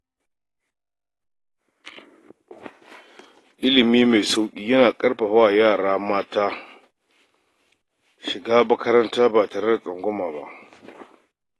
Ilimi mai sauƙi yana ƙarfafa wa yara mata su shiga makaranta ba tare da tsangwama ba.